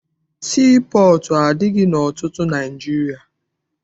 Sii pọọtụ adịghị ọtụtụ na Naịjirịa.